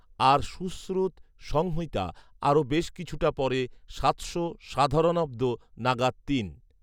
আর সুশ্রুত সংহিতা আরও বেশ কিছুটা পরে সাতশো সাধারণাব্দ নাগাদ তিন